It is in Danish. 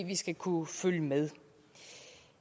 vi skal kunne følge med